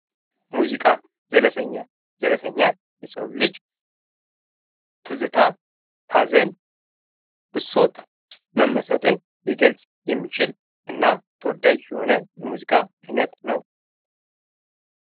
ሙዚቃ ዘለሰኛ:- ዘለሰኛ የሰዉ ልጅ ትዝታ፣ ሀዘን፣ ብሶት፣ መመሰጥን ሊገልፅ የሚችል እና ተወዳጅ የሆነ የሙዚቃ አይነት ነዉ።